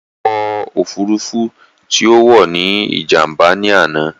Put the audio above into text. Ọkọ̀ òfurufú tí ó wò ní Ìjàm̀bá ní àná